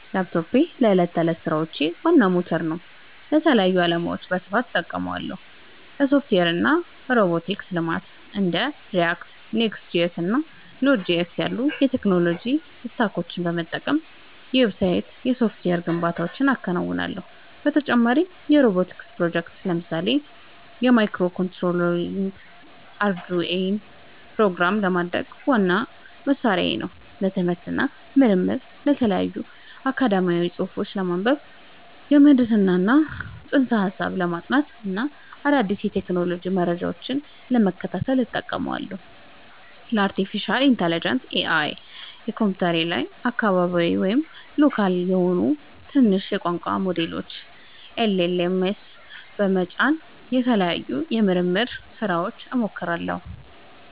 ላፕቶፕ ላፕቶፔ ለእኔ የዕለት ተዕለት ሥራዎቼ ዋና ሞተር ነው። ለተለያዩ ዓላማዎች በስፋት እጠቀምበታለሁ - ለሶፍትዌር እና ሮቦቲክስ ልማት እንደ React፣ Next.js እና Node.js ያሉ የቴክኖሎጂ ስታኮችን በመጠቀም የዌብሳይትና የሶፍትዌር ግንባታዎችን አከናውንበታለሁ። በተጨማሪም የሮቦቲክስ ፕሮጀክቶችን (ለምሳሌ ማይክሮኮንትሮለሮችንና አርዱኢኖን) ፕሮግራም ለማድረግ ዋነኛ መሣሪያዬ ነው። ለትምህርት እና ምርምር የተለያዩ አካዳሚያዊ ጽሑፎችን ለማንበብ፣ የምህንድስና ፅንሰ-ሀሳቦችን ለማጥናት እና አዳዲስ የቴክኖሎጂ መረጃዎችን ለመከታተል እጠቀምበታለሁ። ለአርቲፊሻል ኢንተለጀንስ (AI) በኮምፒውተሬ ላይ አካባቢያዊ (local) የሆኑ ትናንሽ የቋንቋ ሞዴሎችን (LLMs) በመጫን ለተለያዩ የምርምር ሥራዎች እሞክራቸዋለሁ።